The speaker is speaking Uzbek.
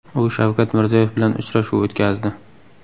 U Shavkat Mirziyoyev bilan uchrashuv o‘tkazdi .